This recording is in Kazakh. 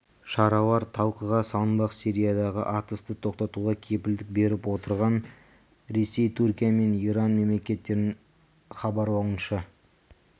шаралар талқыға салынбақ сириядағы атысты тоқтатуға кепілдік беріп отырған ресей түркия мен иран мемлекеттерінің іабарлауынша